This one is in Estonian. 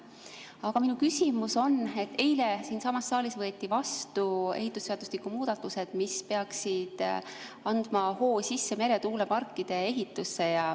Aga minu küsimus on selle kohta, et eile võeti siinsamas saalis vastu ehitusseadustiku muudatused, mis peaksid andma hoo sisse meretuuleparkide ehitamisele.